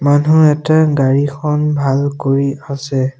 মানুহ এটাই গাড়ীখন ভাল কৰি আছে।